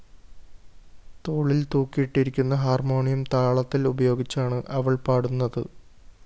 തോളില്‍ തൂക്കിയിട്ടിരിക്കുന്ന ഹാർമോണിയം താളത്തില്‍ ഉപയോഗിച്ചാണ് അവള്‍ പാടുന്നത്